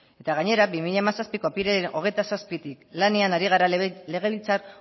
eta gainera bi mila hamazazpiko apirilaren hogeita zazpitik lanean ari gara legebiltzar